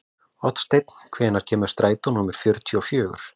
Oddsteinn, hvenær kemur strætó númer fjörutíu og fjögur?